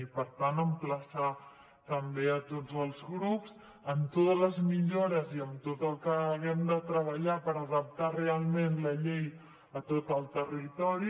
i per tant emplaçar també tots els grups amb totes les millores i amb tot el que hàgim de treballar per adaptar realment la llei a tot el territori